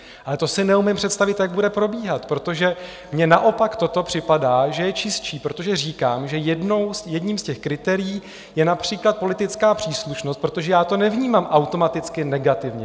Ale to si neumím představit, jak bude probíhat, protože mně naopak toto připadá, že je čistší, protože říkám, že jedním z těch kritérií je například politická příslušnost, protože já to nevnímám automaticky negativně.